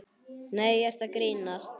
Nei, ertu að grínast?